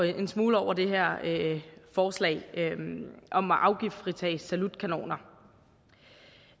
en smule over det her forslag om afgiftsfritagelse for salutkanoner